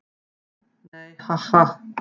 Nei, ha, ha.